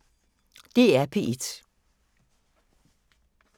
DR P1